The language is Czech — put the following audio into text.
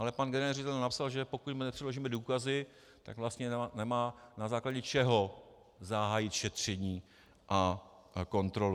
Ale pan generální ředitel napsal, že pokud mu nepředložíme důkazy, tak vlastně nemá na základě čeho zahájit šetření a kontrolu.